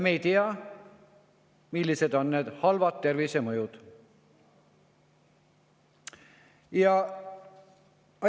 Me ei tea, millised halvad tervisemõjud.